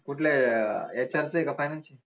कुठल्या HR च आय का finance चय